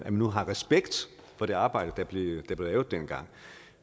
nu har respekt for det arbejde der blev lavet dengang